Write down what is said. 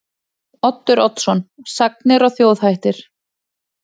Oddur Oddsson: Sagnir og þjóðhættir.